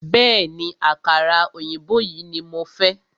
Bẹ̀ẹ́ni, àkàrà òyìnbó yìí ní mo fẹ́.